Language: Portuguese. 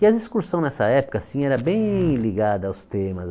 E as excursão nessa época assim eram bem ligadas aos temas.